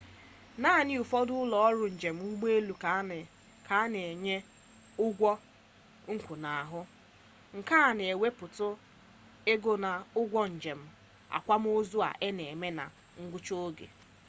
naanị ụfọdụ ụlọ ọrụ njem ụgbọelu ka na-enye ụgwọ nnwụnahụ nke na-ewepụtụ ego n'ụgwọ njem akwamozu a na-eme na ngwụcha oge